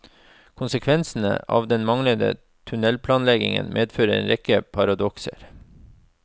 Konsekvensene av den manglende tunnelplanleggingen medfører en rekke paradokser.